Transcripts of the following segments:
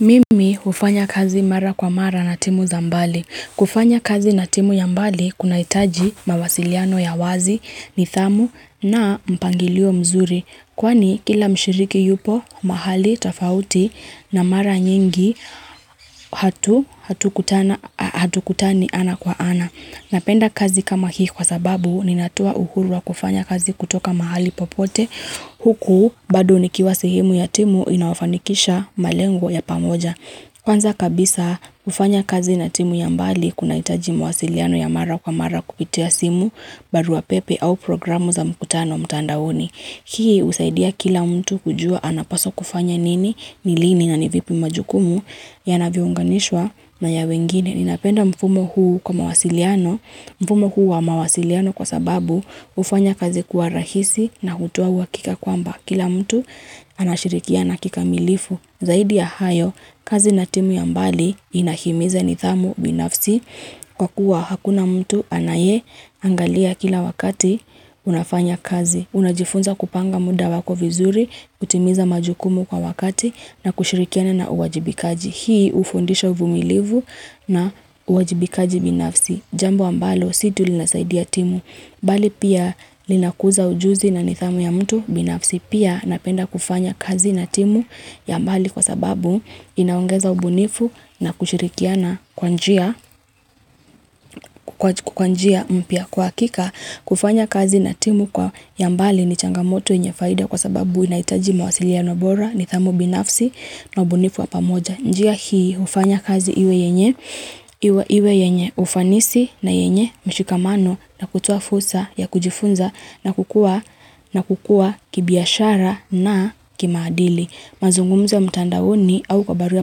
Mimi hufanya kazi mara kwa mara na timu zambali. Kufanya kazi na timu ya mbali kuna hitaji mawasiliano ya wazi, nithamu na mpangilio mzuri. Kwani kila mshiriki yupo, mahali, tafauti na mara nyingi hatu kutani ana kwa ana. Napenda kazi kama hii kwa sababu ninatoa uhuru wakufanya kazi kutoka mahali popote huku bado nikiwa sehemu ya timu inayofanikisha malengo ya pamoja. Kwanza kabisa kufanya kazi na timu ya mbali kuna hitaji mawasiliano ya mara kwa mara kupitia simu barua pepe au program za mkutano mtandaoni. Hii husaidia kila mtu kujua anapaswa kufanya nini, nilini na nivipi majukumu ya navyounganishwa na ya wengine. Ninapenda mfumo huu kwa mawasiliano. Mfumo huu wa mawasiliano kwa sababu ufanya kazi kuwa rahisi na hutowa uwakika kwamba. Kila mtu anashirikiana kikamilifu. Zaidi ya hayo, kazi na timu ya mbali inahimiza nidhamu binafsi. Kwa kuwa hakuna mtu anaye angalia kila wakati unafanya kazi. Unajifunza kupanga muda wako vizuri, kutimiza majukumu kwa wakati na kushirikiana na uwajibikaji. Hii ufundisha uvumilivu na uwajibikaji binafsi. Jambo ambalo si tu linasaidia timu. Bali pia linakuza ujuzi na nidhamu ya mtu binafsi. Pia napenda kufanya kazi na timu ya mbali kwa sababu inaongeza ubunifu na kushirikiana kwa njia kwanjia mpya kwa hakika. Kufanya kazi na timu kwa yambali ni changamoto yenyefaida kwa sababu inahitaji mawasiliano bora ni thamu binafsi na ubunifu wapamoja. Njia hii hufanya kazi iwe yenye ufanisi na yenye mshikamano na kutoa fursa ya kujifunza na kukua kibiashara na kimaadili. Mazungumzo ya mtandaoni au kwa barua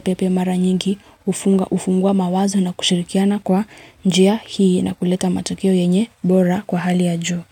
pepe mara nyingi ufunga ufungua mawazo na kushirikiana kwa njia hii na kuleta matokeo yenye bora kwa hali ya jo.